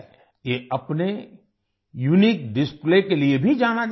ये अपने unique display के लिए भी जाना जाता है